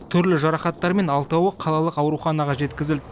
түрлі жарақаттармен алтауы қалалық ауруханаға жеткізілді